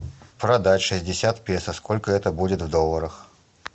продать шестьдесят песо сколько это будет в долларах